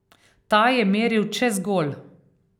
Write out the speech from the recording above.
Ta je meril čez gol.